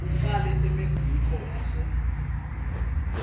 ucale emexico wase